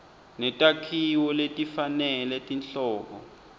netakhiwo letifanele tinhlobo